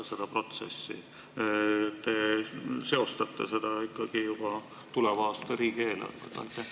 Te ju seostate seda ikkagi juba tuleva aasta riigieelarvega?